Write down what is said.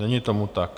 Není tomu tak.